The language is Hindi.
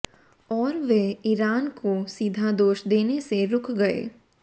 और वे ईरान को सीधा दोष देने से रुक गए